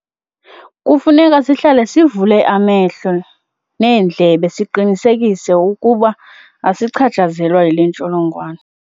Kufuneka sihlale sivule amehlo, sibaze neendlebe siqinisekise ukuba asichatshazelwa yile ntsholongwane.